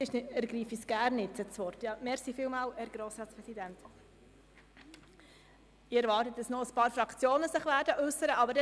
Ich erwarte, dass sich noch einige Fraktionen dazu äussern werden.